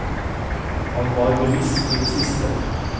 Han var bevisst til det siste.